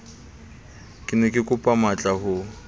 ke ne kekopa matlaa ho